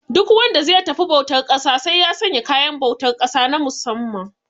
Duk wanda ze tafi bautar ƙasa sai ya sanya kayan bautar ƙasa na musamman